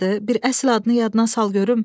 Bir əsl adını yadına sal görüm.